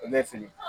I bɛ fili